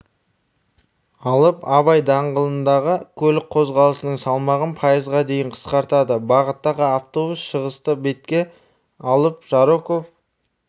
алып абай даңғылындағы көлік қозғалысының салмағын пайызға дейін қысқартады бағыттағы автобус шығысты бетке алып жароков